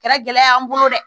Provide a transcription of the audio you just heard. Kɛra gɛlɛya y'an bolo dɛ